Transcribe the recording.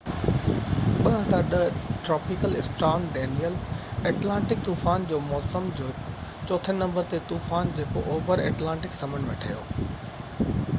tropical storm Danielle 2010 Atlantic طوفان جي موسم جو چوٿين نمبر تي طوفان جيڪو اوڀر ايٽلانٽڪ سمنڊ ۾ ٺهيو